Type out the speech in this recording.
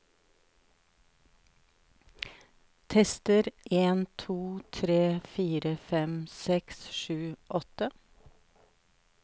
Tester en to tre fire fem seks sju åtte